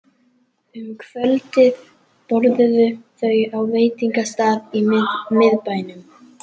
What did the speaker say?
Um kvöldið borðuðu þau á veitingastað í miðbænum.